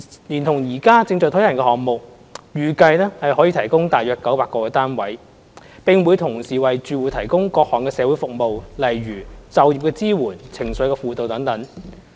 連同現時正在推行的項目，預計可以提供約900個單位，並會同時為住戶提供各項社會服務，例如就業支援、情緒輔導等。